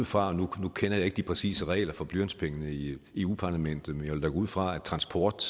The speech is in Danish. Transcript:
fra nu kender jeg ikke de præcise regler for blyantspenge i eu parlamentet men jeg vil ud fra at transport